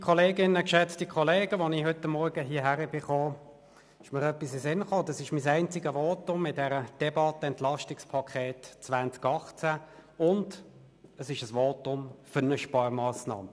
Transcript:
Als ich heute Morgen hierher kam, ging mir durch den Kopf, dass dies mein einziges Votum während dieser Debatte zum EP 2018 ist, und es ist ein Votum für eine Sparmassnahme.